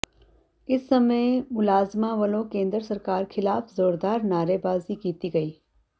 ਇਸ ਸਮੇਂ ਮੁਲਾਜ਼ਮਾਂ ਵੱਲੋਂ ਕੇਂਦਰ ਸਰਕਾਰ ਖ਼ਿਲਾਫ਼ ਜ਼ੋਰਦਾਰ ਨਾਅਰੇਬਾਜ਼ੀ ਕੀਤੀ ਗਈ